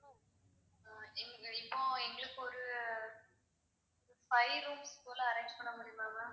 அஹ் இப்போ எங்களுக்கு ஒரு five rooms போல arrange பண்ண முடியுமா ma'am